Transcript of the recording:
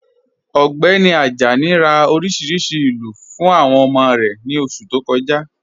Ọgbẹni Ajani rá oríṣiríṣí ilú fún awọn ọmọ rẹ ni oṣù tó kọ̀ja..